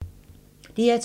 DR2